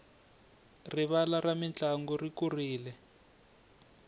rivala ra mintlangu ri kurile